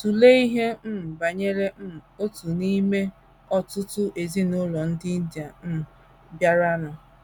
Tụlee ihe um banyere um otu n’ime ọtụtụ ezinụlọ ndị India um bịaranụ.